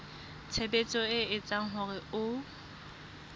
tshebetso e etsang hore ho